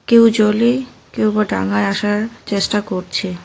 কেউ জলে কেউ বা ডাঙায় আসার চেষ্টা করছে।